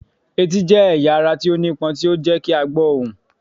Eti jẹ ẹya ara ti o nipon ti o jẹ ki a gbo ohun.